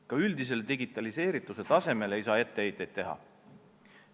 Ka üldisele digitaliseerituse tasemele ei saa etteheiteid teha.